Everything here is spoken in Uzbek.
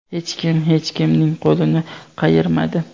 Hech kim hech kimning qo‘lini qayirmadi.